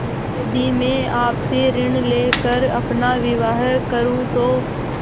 यदि मैं आपसे ऋण ले कर अपना विवाह करुँ तो